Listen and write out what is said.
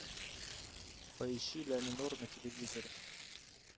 поищи ля минор на телевизоре